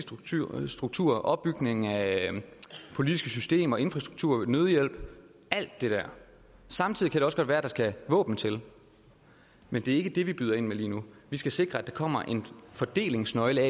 struktur og opbygning af politiske systemer infrastruktur nødhjælp alt det der samtidig kan det også godt være at der skal våben til men det er ikke det vi byder ind med lige nu vi skal sikre at der kommer en fordelingsnøgle